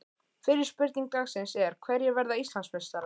Fyrri spurning dagsins er: Hverjir verða Íslandsmeistarar?